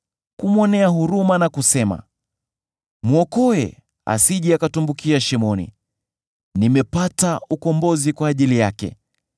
kumwonea huruma na kusema, ‘Mwokoe asije akatumbukia shimoni; nimepata ukombozi kwa ajili yake’: